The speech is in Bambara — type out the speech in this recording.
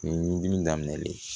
Ɲugudimi daminɛlen